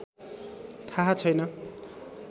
थाहा छैन